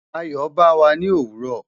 Ayo ba wa ni owuro